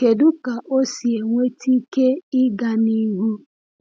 Kedu ka ọ si enweta ike ịga n’ihu?